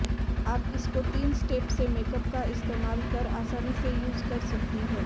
आप इसको तीन स्टेप से मेकअप का इस्तेमाल कर आसानी से यूज कर सकती हैं